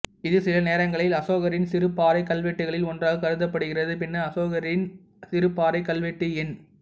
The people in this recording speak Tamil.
இது சில நேரங்களில் அசோகரின் சிறு பாறைக் கல்வெட்டுகளில் ஒன்றாக கருதப்படுகிறது பின்னர் அசோகரின் சிறு பாறைக் கல்வெட்டு எண்